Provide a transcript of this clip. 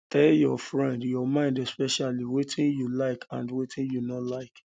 um tell your friend your mind especially wetin you um like and wetin you no like